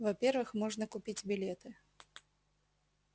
во-первых можно купить билеты